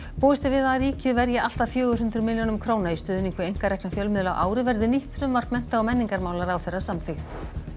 búist er við að ríkið verji allt að fjögur hundruð milljónum króna í stuðning við einkarekna fjölmiðla á ári verði nýtt frumvarp mennta og menningarmálaráðherra samþykkt